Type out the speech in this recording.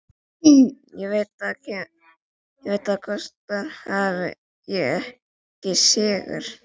Ég veit hvað það kostar hafi ég ekki sigur.